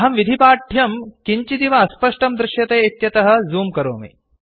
अहं विधिपाठ्यं किञ्चिदिव अस्पष्टं दृश्यते इत्यतः झूम् करोमि